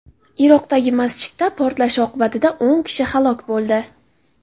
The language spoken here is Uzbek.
Iroqdagi masjidda portlash oqibatida o‘n kishi halok bo‘ldi.